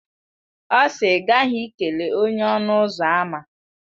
Ọ si, I ghaghi ikele onye-ọnụ-ụzọ-ámá!